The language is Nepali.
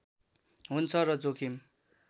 हुन्छ र जोखिम